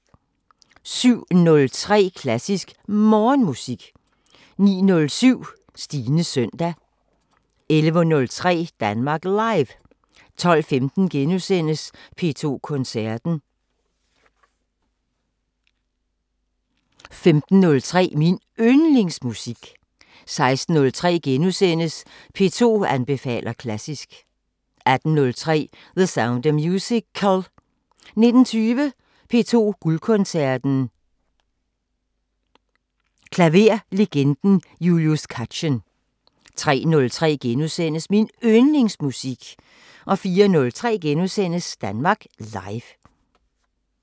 07:03: Klassisk Morgenmusik 09:07: Stines søndag 11:03: Danmark Live 12:15: P2 Koncerten * 15:03: Min Yndlingsmusik 16:03: P2 anbefaler klassisk * 18:03: The Sound of Musical 19:20: P2 Guldkoncerten: Klaverlegenden Julius Katchen 03:03: Min Yndlingsmusik * 04:03: Danmark Live *